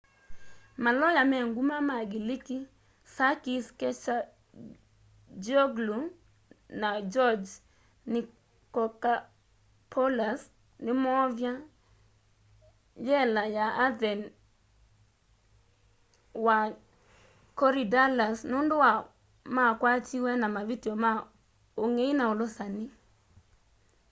maloya me nguma ma ngiliki sakis kechagioglou na george nikolakopoulos nimoovya y'ela ya athen wa korydallus nundu makwatiwe na mavityo ma ungei na ulusani